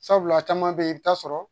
Sabula caman beyi i bɛ taa sɔrɔ